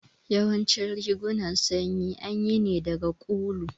Yawancin rigunan sanyi anyi ne daga ulu